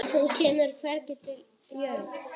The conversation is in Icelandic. Hann kemur hvergi við jörð.